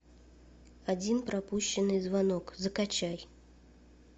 один пропущенный звонок закачай